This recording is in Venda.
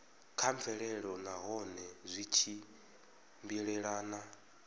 kha mvelelo nahone zwi tshimbilelana